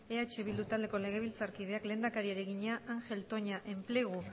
eh bildu taldeko legebiltzarkideak lehendakariari egina angel toña enplegu